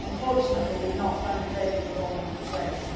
Unfortunately, we have not found favour with all Member States.